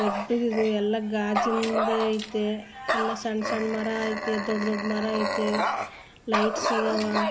ದೊಡ್ದುದು ಇದು ಎಲ್ಲ ಗಾಜಿಂದ್ ಐತೆ ಎಲ್ಲ ಸಣ್ಣ್ - ಸಣ್ಣ್ ಮರ ಐತೆ ದೊಡ್ಡ್ - ದೊಡ್ಡ್ ಮರ ಐತೆ ಲೈಟ್ಸ್ ಇದಾವ.